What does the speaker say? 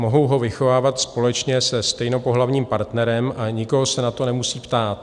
Mohou ho vychovávat společně se stejnopohlavním partnerem a nikoho se na to nemusí ptát.